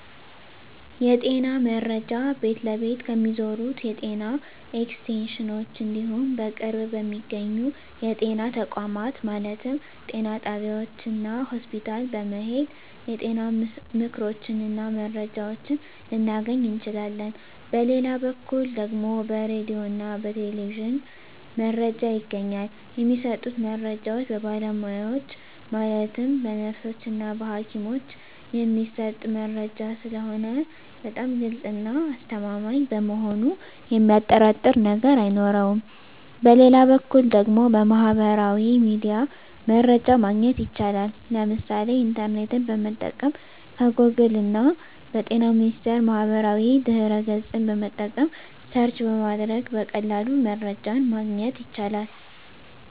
የጤና መረጃ ቤት ለቤት ከሚዞሩት የጤና ኤክስቴንሽኖች እንዲሁም በቅርብ በሚገኙ የጤና ተቋማት ማለትም ጤና ጣቢያዎች እና ሆስፒታል በመሔድ የጤና ምክሮችን እና መረጃዎችን ልናገኝ እንችላለን በሌላ በኩል ደግሞ በራዲዮ እና በቴሌቪዥንም መረጃ ይገኛል የሚሰጡት መረጃዎች በባለሙያዎች ማለትም በነርሶች እና በሀኪሞች የሚሰጥ መረጂ ስለሆነ በጣም ግልፅ እና አስተማማኝ በመሆኑ የሚያጠራጥር ነገር አይኖረውም በሌላ በኩል ደግሞ በሚህበራዊ ሚዲያ መረጃ ማግኘት ይቻላል የምሳሌ ኢንተርኔትን በመጠቀም ከጎግል እና በጤና ሚኒስቴር ማህበራዊ ድህረ ገፅን በመጠቀም ሰርች በማድረግ በቀላሉ መረጃን ማግኘት ይቻላል።